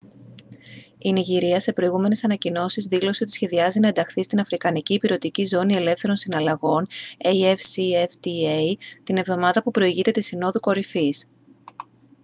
η νιγηρία σε προηγούμενες ανακοινώσεις δήλωσε ότι σχεδιάζει να ενταχθεί στην αφρικανική ηπειρωτική ζώνη ελεύθερων συναλλαγών afcfta την εβδομάδα που προηγείται της συνόδου κορυφής